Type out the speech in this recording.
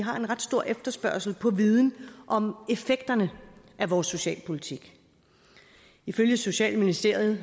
har en ret stor efterspørgsel på viden om effekterne af vores socialpolitik ifølge socialministeriet